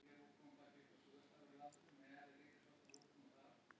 Hver skilur á milli Evrópu og miðjumoðs eða fjölgar áhorfendum?